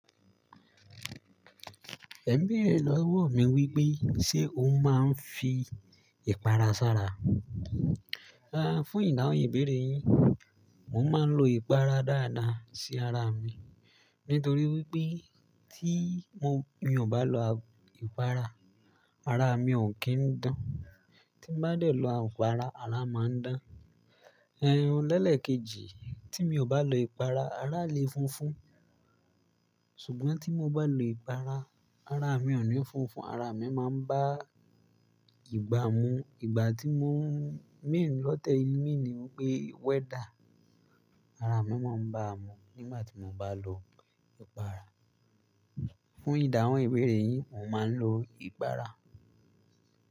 Ẹ ń béèrè lọ́wọ́ mi wípé, ṣe ó máa ń fi ìpara sá ra? A, fún ìdahun ìbéèrè yín, mo máa ń lo ìpara dáadáa sí ara mi. Nítorí wípé tí mo, mi ò bá lo ìpara, ara mi ò kín ń dán. Tí mo bá dẹ̀ lọ àwọn ìpara, ara máa ń dán. Ehn, lẹ́lẹ́ kejì, tí mi ò bá lo ìpara, ara lè funfun. Ṣùgbọ́n tí mo bá lo ìpara, ara mi ò ní funfun, ara mi máa ń bá ìgbà mu. Ìgbà tí mo ń, mi ń lọ tẹ ìní ni wípé weather, ara mi máa ń bá mu nígbà tí mo bá lo ìpara. Fún ìda ohun ìbéèrè yín, mo máa ń lo ìpara.